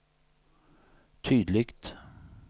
tydligt